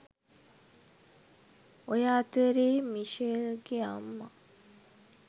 ඔය අතරේ මිෂෙල්ගෙ අම්මා